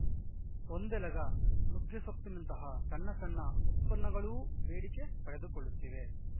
ಒಂದೆಲಗ ನುಗ್ಗೆಸೊಪ್ಪಿನಂತಹ ಸಣ್ಣ ಸಣ್ಣ ಉತ್ಪನ್ನಗಳೂ ಬೇಡಿಕೆ ಪಡೆದುಕೊಳ್ಳುತ್ತಿವೆ